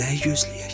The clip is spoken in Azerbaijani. Nəyi gözləyək?